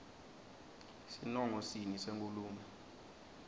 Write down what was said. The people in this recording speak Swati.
sinongo sini senkhulumo